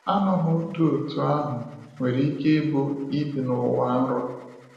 Aṅụhụ dị otú ahụ nwere ike ịbụ ịbi n’ụwa nrọ.